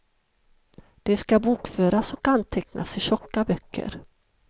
De ska bokföras och antecknas i tjocka böcker.